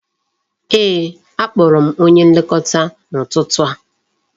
Ee, a kpọrọ m onye Nlekọta n'ụtụtụ a